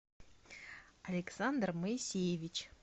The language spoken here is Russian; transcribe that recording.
александр моисеевич